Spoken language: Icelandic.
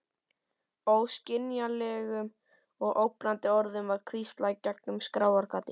Óskiljanlegum og ógnandi orðum var hvíslað í gegnum skráargati.